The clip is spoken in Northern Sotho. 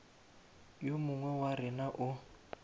yo mongwe wa rena o